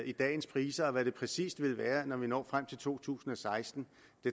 i dagens priser og hvad det præcis vil være når vi når frem til to tusind og seksten